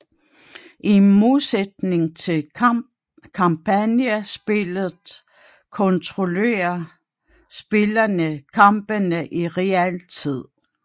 I modsætning til kampagnespilet kontrollerer spillerne kampene i realtid